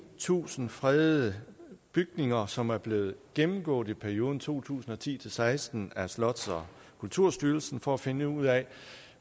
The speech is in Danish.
tusind fredede bygninger som er blevet gennemgået i perioden to tusind og ti til seksten af slots og kulturstyrelsen for at finde ud af